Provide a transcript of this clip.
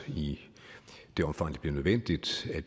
i det omfang det bliver nødvendigt